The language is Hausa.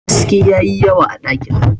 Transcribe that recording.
haske ya yi yawa a dakin